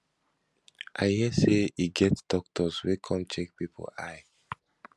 i hear say e get doctors wey come check people eye